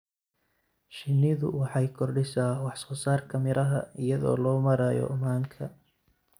Shinnidu waxay kordhisaa wax soo saarka miraha iyada oo loo marayo manka.